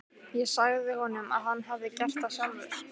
Ég sagði honum að hann hefði gert það sjálfur.